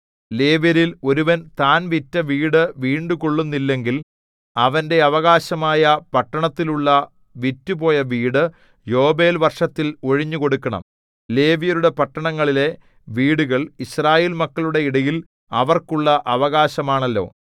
ലേവ്യരിൽ ഒരുവൻ താൻ വിറ്റ വീട് വീണ്ടുകൊള്ളുന്നില്ലെങ്കിൽ അവന്റെ അവകാശമായ പട്ടണത്തിലുള്ള വിറ്റുപോയ വീട് യോബേൽ വർഷത്തിൽ ഒഴിഞ്ഞുകൊടുക്കണം ലേവ്യരുടെ പട്ടണങ്ങളിലെ വീടുകൾ യിസ്രായേൽ മക്കളുടെ ഇടയിൽ അവർക്കുള്ള അവകാശമാണല്ലോ